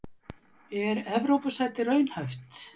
Er Evrópusæti raunhæft?